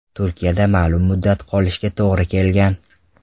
Turkiyada ma’lum muddat qolishiga to‘g‘ri kelgan.